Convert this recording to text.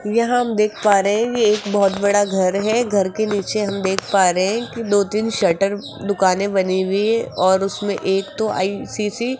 यहां हम देख पा रहे हैं एक बहोत बड़ा घर है घर के पीछे हम देख पा रहे हैं कि दो तीन शटर दुकानें बनी हुई है और उनमें एक तो आई_सी_सी --